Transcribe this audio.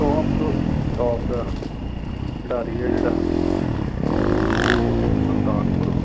Top top ਦਾ ਖਿਡਾਰੀ ਹੈ ਜਿਹੜਾ ਉਹ ਸੁਲਤਾਨਪੁਰ